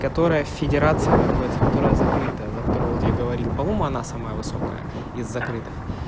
которая в федерации находится которая закрыта за которую вот я говорил по-моему она самая высокая из закрытых